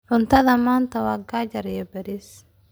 Cuntada maanta waa qajaar iyo bariis.